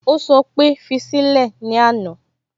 Ó sọ pé "fi sílẹ̀" ní àná